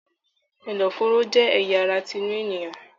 Ẹ̀dọ̀-fòróró jẹ́ ẹ̀ya ara tinú ènìyàn.